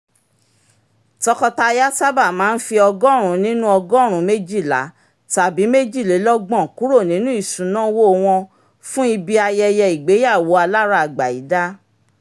tọkọtaya sábà máa ń fi ọgọ́rùn-ún nínú ọgọ́rùn-ún méjìlá tàbí méjìlélọ́gbọ̀n kúrò nínú isunawo wọn fún ibi ayẹyẹ ìgbéyàwó aláragbayida